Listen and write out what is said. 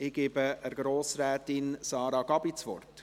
Ich gebe Grossrätin Sara Gabi Schönenberger das Wort.